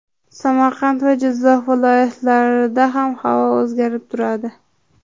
Samarqand va Jizzax viloyatlarida ham havo o‘zgarib turadi.